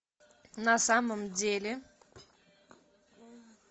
на самом деле